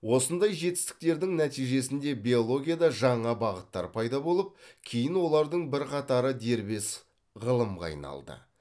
осындай жетістіктердің нәтижесінде биологияда жаңа бағыттар пайда болып кейін олардың бірқатары дербес ғылымға айналды